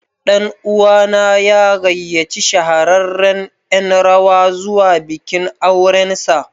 Ɗan'uwa na ya gayyaci shahararren Yan rawa zuwa bikin aurensa.